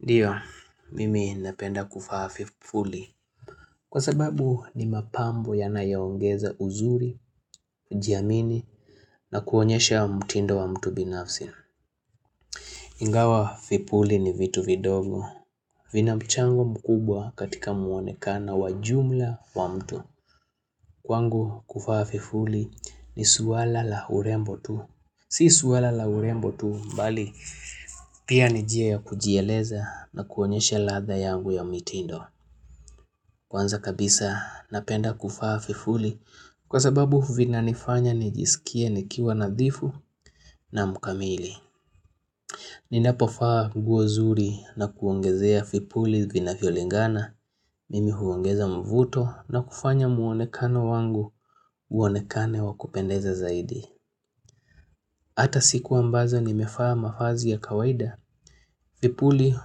Ndio mimi napenda kuvaa vivuli Kwa sababu ni mapambo ya nayaongeza uzuri kujiamini na kuonyesha mutindo wa mtu binafsi Ingawa vipurii ni vitu vidogo vina mchango mkubwa katika mu onekano wa jumla wa mtu Kwangu kuvaa vipuri ni swala la urembo tu Si swala la urembo tu mbali pia ni njia ya kujieleza na kuonyesha ladha yangu ya mitindo. Kwanza kabisa napenda kuvaa vipuri kwa sababu vina nifanya nijisikie nikiwa nadhifu na mukamili. Ninapo vaa nguo nzuri na kuongezea vipuli vinavyo lingana. Mimi huongeza mvuto na kufanya muonekano wangu uonekane wa kupendeza zaidi. Hata siku mbazo ni mevaa mavazi ya kawaida, vipuli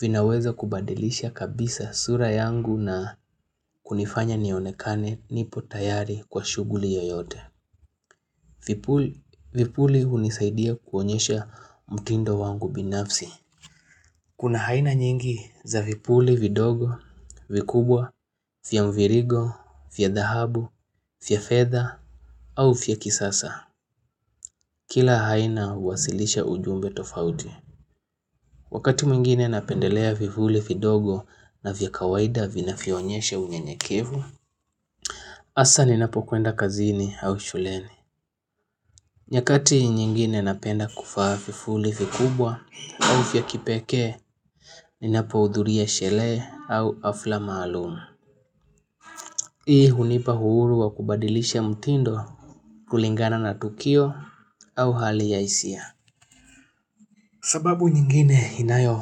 vinaweza kubadilisha kabisa sura yangu na kunifanya nionekane nipo tayari kwa shuguli yoyote. Vipuli hunisaidia kuonyesha mtindo wangu binafsi. Kuna aina nyingi za vipuli vidogo, vikubwa, via mvirigo, via dhahabu, via fedha au via kisasa. Kila aina huwasilisha ujumbe tofauti. Wakati mwingine napendelea vipuli vidogo na vya kawaida vinavyo onyesha unyenyekevu. Hasa ninapokwenda kazini au shuleni nyakati nyingine napenda kuvaa vipuli vikubwa au vya kipekee Ninapo hudhuria sherehee au hafla maalumu Hii hunipa uhuru wa kubadilisha mtindo kulingana na tukio au hali ya hisia. Sababu nyingine inayo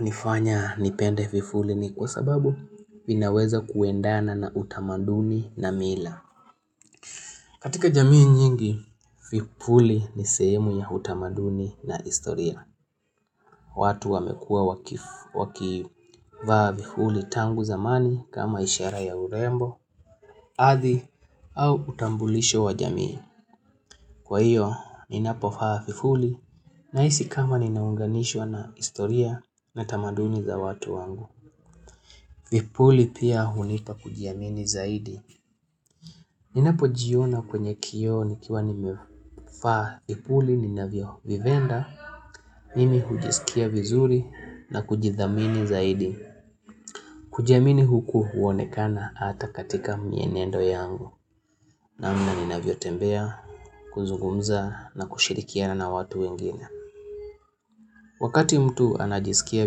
nifanya nipende vipuli ni kwa sababu vinaweza kuendana na utamaduni na mila. Katika jamii nyingi, vipuli ni sehemu ya utamaduni na historia. Watu wamekuwa wakivaa vipuli tangu zamani kama ishara ya urembo, adhi au utambulisho wa jamii. Kwa hiyo, ninapovaa vipuli nahisi kama ninaunganishwa na historia na tamaduni za watu wangu. Vipuli pia hunipa kujiamini zaidi. Ninapo jiona kwenye kioo nikiwa nimevaa vipuli, ninavyo vipenda, mimi hujisikia vizuri na kujidhamini zaidi. Kujiamini huku huonekana hata katika mienendo yangu. Namna ninavyo tembea, kuzungumza na kushirikiana na watu wengine. Wakati mtu anajisikia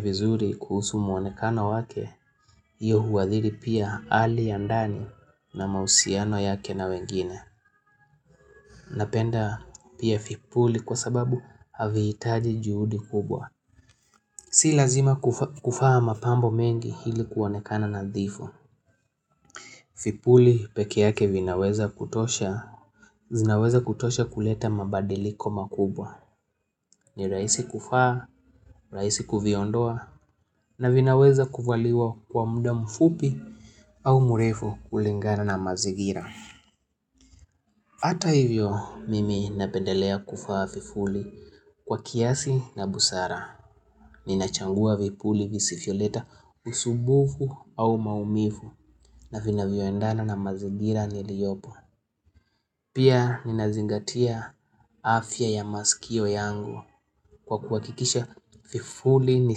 vizuri kuhusu muonekano wake, hiyo huadhiri pia hali ya ndani na mahusiano yake na wengine. Napenda pia vipuli kwa sababu haviitaji juhudi kubwa. Si lazima kuvaa mapambo mengi hili kuwonekana na dhifu. Vipuli peke yake vinaweza kutosha, zinaweza kutosha kuleta mabadiliko makubwa. Ni raisi kuvaa, raisi kuviondoa na vinaweza kuvaliwa kwa muda mfupi au murefu kulingana na mazingira. Hata hivyo mimi napendelea kuvaa vipuli kwa kiasi na busara Nina chagua vipuli visivyoleta usubufu au maumivu na vinavyoendana na mazingira niliopo Pia nina zingatia afya ya masikio yangu kwa kuhakikisha vipuli ni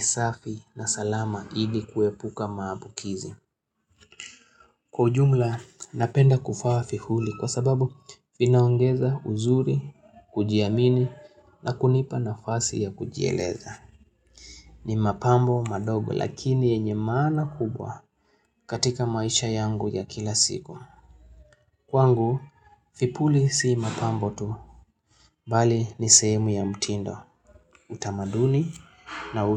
safi na salama hivi kuepuka maabukizi. Kwa ujumla napenda kufaa vipuli kwa sababu vinaongeza uzuri, kujiamini na kunipa nafasi ya kujieleza. Ni mapambo madogo lakini yenye maana kubwa katika maisha yangu ya kila siku. Kwangu, vipuli si mapambo tu Bali ni sehemu ya mtindo, utamaduni na utu.